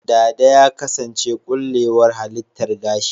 Dada ya kasance ƙullewar halittar gashi.